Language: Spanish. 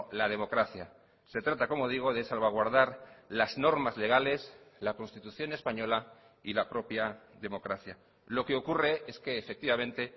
la democracia se trata como digo de salvaguardar las normas legales la constitución española y la propia democracia lo que ocurre es que efectivamente